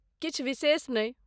किछु विशेष नहि।